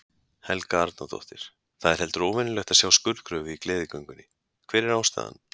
Helga Arnardóttir: Það er heldur óvenjulegt að sjá skurðgröfu í Gleðigöngunni, hver er ástæðan?